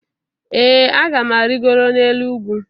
ee a ga m arịgoro n'elu ugwu